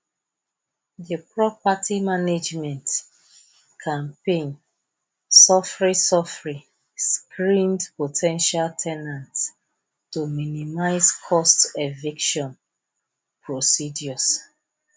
di property management compin sofri sofri screened po ten tial ten ants to minimize cost eviction procedures